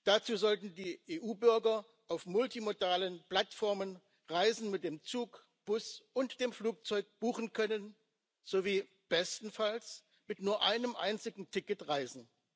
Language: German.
Dazu sollten die EU Bürger auf multimodalen Plattformen Reisen mit dem Zug, Bus und dem Flugzeug buchen können sowie bestenfalls mit nur einem einzigen Ticket reisen.